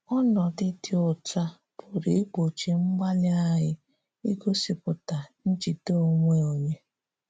Ọnọdụ dị otú a pụrụ ịgbochi mgbalị anyị igosipụta njide onwe onye.